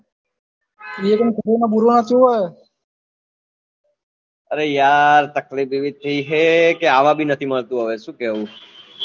અરે યાર તકલીફ એવી થઇ હે કે હવે આવ્યા ભી નહી મળતું શું કેવું